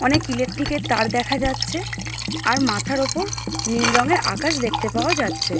অনেক ইলেট্রিকের তার দেখা যাচ্ছে আর মাথার ওপর নীল রংয়ের আকাশ দেখতে পাওয়া যাচ্ছে।